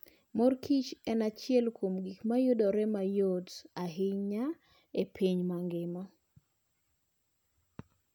Mor Kichen achiel kuom gik ma yudore mayot ahinya e piny mangima.